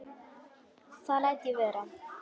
Það læt ég vera